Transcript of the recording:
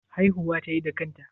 Haihuwa tayi da kanta?